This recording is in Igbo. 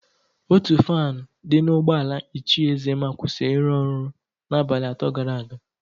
Ótù faanụ dị n'ụgbọala Ichie Ezema kwụsịrị ịrụ ọrụ n'abalị atọ gara aga.